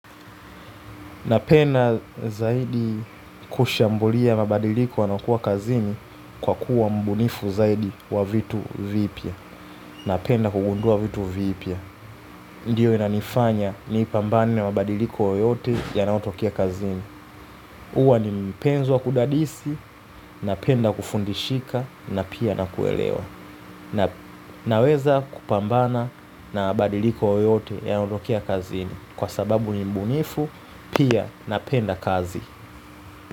Napenda zaidi kushambulia mabadiliko yanayokuwa kazini kwa kuwa mbunifu zaidi wa vitu vipya. Napenda kugundua vitu vipia. Ndiyo inanifanya nipambane na mabadiliko yoyote yanayotokea kazini. Huwa ni mpenzi wa kudadisi, napenda kufundishika na pia na kuelewa. Naweza kupambana na mabadiliko yoyote yanayotokea kazini. Kwa sababu ni mbunifu, pia napenda kazi.